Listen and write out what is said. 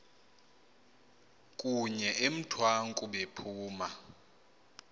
kunye emthwaku bephuma